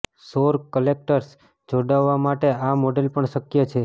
સૌર કલેક્ટર્સ જોડાવા માટે આ મોડેલ પણ શક્ય છે